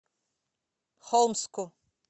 холмску